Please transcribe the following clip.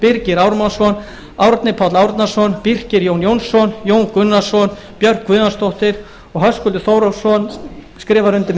birgir ármannsson árni páll árnason birkir jón jónsson jón gunnarsson björk guðjónsdóttir höskuldur þórhallsson skrifar undir